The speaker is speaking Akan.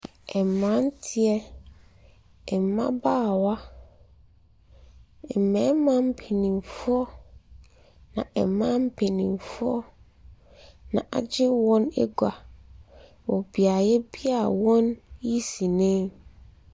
Mmeranteɛ, mmabaawa, mmarima mpanimfoɔ, ɛnna mmaa mpanimfoɔ na wɔagye wɔn agua wɔ beaeɛ bi a wɔreyi sini.